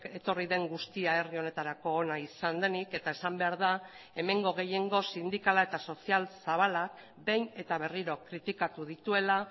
etorri den guztia herri honetarako ona izan denik eta esan behar da hemengo gehiengo sindikala eta sozial zabalak behin eta berriro kritikatu dituela